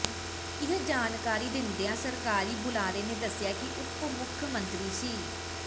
ਇਹ ਜਾਣਕਾਰੀ ਦਿੰਦਿਆਂ ਸਰਕਾਰੀ ਬੁਲਾਰੇ ਨੇ ਦੱਸਿਆ ਕਿ ਉੱਪ ਮੁੱਖ ਮੰਤਰੀ ਸ